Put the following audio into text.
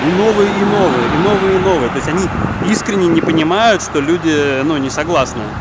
и новые и новые и новые и новые то есть они искренне не понимают что люди ну не согласны